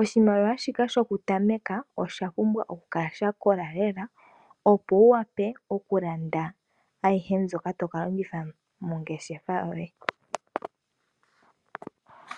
,oshimaliwa shika shoku tameka oshapumbwa okukala sha kola lela opo wuwape okulanda ayihe mbyoka tokalongitha mongeshefa yoye.